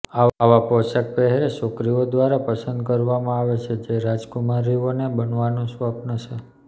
આવા પોશાક પહેરે છોકરીઓ દ્વારા પસંદ કરવામાં આવે છે જે રાજકુમારીઓને બનવાનો સ્વપ્ન છે